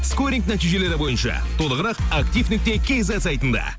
скоринг нәтижелері бойынша толығырақ актив нүкте кизет сайтында